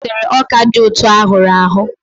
Amaka gotere ọka dị ụtọ a hụrụ ahụ.